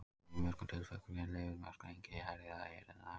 Í mjög mörgum tilfellum eru leyfileg mörk einnig hærri þar en hérlendis.